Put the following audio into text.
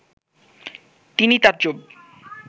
তিনি তাজ্জব